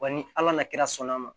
Wa ni ala nana kira sɔn'a ma